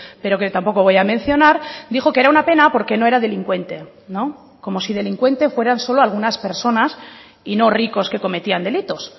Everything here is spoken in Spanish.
pero que tampoco voy a mencionar dijo que era una pena porque no era delincuente como si delincuente fueran solo algunas personas y no ricos que cometían delitos